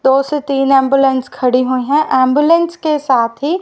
दो से तीन एंबुलेंस खड़ी हुई हैं एंबुलेंस के साथ ही--